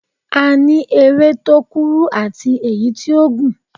A ní eré tó kúrú àti èyí tí ó gùn.